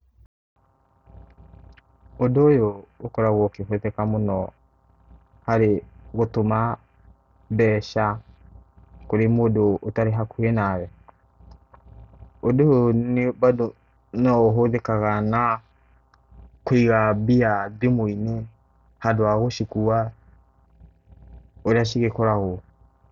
Ũndũ ũyũ ũkoragwo ũkĩhũthĩka mũno harĩ gũtũma mbeca kũrũ mũndũ ũtarĩ hakuhĩ nawe. Ũndũ ũyũ bado no ũhũthĩkaga na kũiga mbia thimũ-inĩ handũ hagũcikua, ũrĩa cigĩkoragwo.